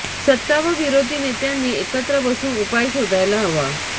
सत्ता व विरोधी नेत्यांनी एकत्र बसून उपाय शोधायला हवा